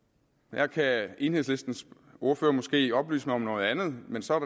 der kan enhedslistens ordfører måske oplyse mig om noget andet men så er